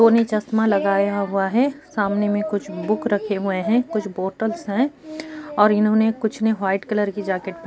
दो ने चश्मा लगाया हुआ है सामने में कुछ बुक रखे हुए हैं कुछ बॉटल्स हैं और इन्होने कुछ ने वाइट कलर के जैकेट --